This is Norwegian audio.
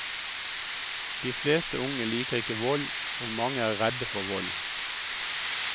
De fleste unge liker ikke vold, og mange er redde for vold.